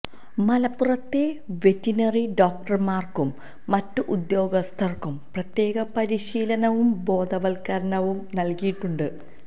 മലപ്പുറത്തെ വെറ്റിനറി ഡോക്ടര്മാര്ക്കും മറ്റ് ഉദ്യോഗസ്ഥര്ക്കും പ്രത്യേക പരിശീലനവും ബോധവത്കരണവും നല്കിയിട്ടുണ്ട്